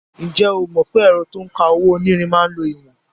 Ǹjẹ́ o mọ̀ pé ẹ̀rọ to ń ka owó-onírin máa ń lo ìwọ̀n?